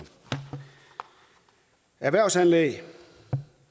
erhvervsanlæg